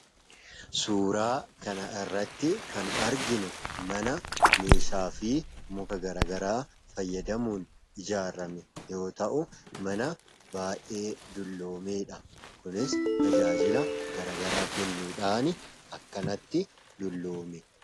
Suuraa kana irratti kan arginu mana meeshaa fi muka garaa garaa fayyadamuun ijaarame yoo ta'u mana baa'ee dulloomedha. Kunis tajaajila garaa garaa kennuudhaan akkanatti dulloome.